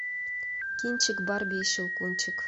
кинчик барби и щелкунчик